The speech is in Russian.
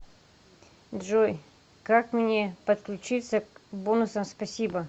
джой как мне подключиться к бонусам спасибо